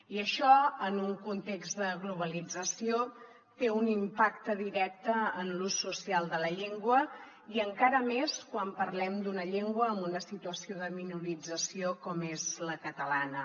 i això en un context de globalització té un impacte directe en l’ús social de la llengua i encara més quan parlem d’una llengua en una situació de minorització com és la catalana